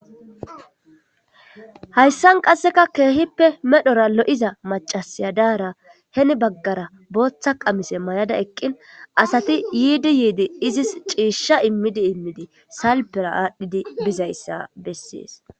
Haysan qasseka keehippe medhora lo'iza accase daara heni baggara bootha qamisa mayada eqqin, asati yiidi izis ciishsha immidi immidi salpera bizaysa bessees.